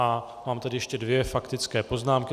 A mám tady ještě dvě faktické poznámky.